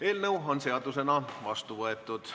Eelnõu on seadusena vastu võetud.